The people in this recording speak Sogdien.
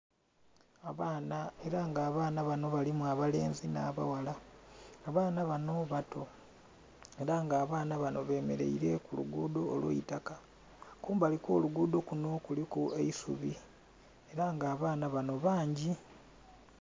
Abaana era nga abaana banho balimu abalenzi nha baghala abaana banho bato era nga abaana banho bemereire ku lugudho olweitaka nga kumbali okwo lugudho lunho kuliku eisubi era nga abaana banho bangi.